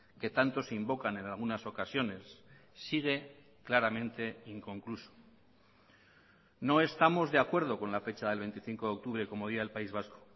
que tanto se invocan en algunas ocasiones sigue claramente inconcluso no estamos de acuerdo con la fecha del veinticinco de octubre como día del país vasco